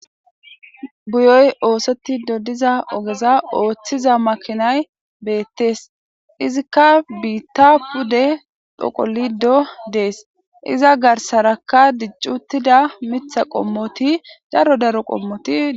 Buyoy oosoti dodiza ogeza ooththiza makinay beettees izikka biitta pude dhoqolido dees iza garsarakka diccuttida mitha qommoti daro daro qommoti.